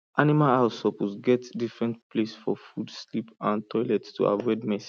animal house suppose get different place for food sleep and toilet to avoid mess